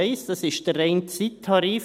I. Das ist der reine Zeittarif.